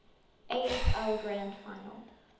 afl grand final